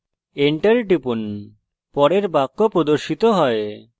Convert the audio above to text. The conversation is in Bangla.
enter enter টিপুন পরের বাক্য প্রদর্শিত হয়